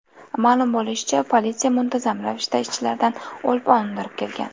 Ma’lum bo‘lishicha, politsiya muntazam ravishda ishchilardan o‘lpon undirib kelgan.